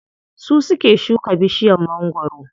Su suke shuka bishiyar mangwaro.